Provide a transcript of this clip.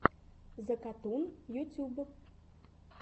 закатун ютьюб